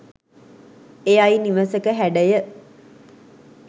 එයයි නිවසක හැඩය.